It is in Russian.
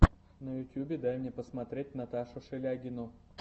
на ютьюбе дай мне посмотреть наташу шелягину